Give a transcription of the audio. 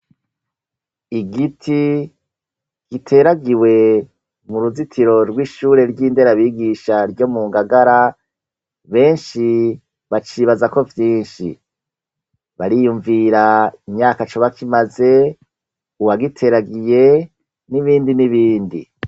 igiti giteragiwe mu ruzitiro rw'ishure ry'inderabigisha ryo mu ngagara benshi bacibazako vyinshi bariyumvira imyaka coba kimaze uwagiteragiye n'ibindi n'ibindi